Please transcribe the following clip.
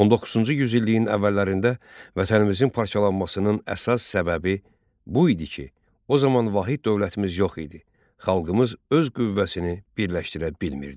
19-cu yüzilliyin əvvəllərində vətənimizin parçalanmasının əsas səbəbi bu idi ki, o zaman vahid dövlətimiz yox idi, xalqımız öz qüvvəsini birləşdirə bilmirdi.